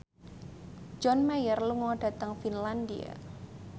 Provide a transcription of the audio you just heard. John Mayer lunga dhateng Finlandia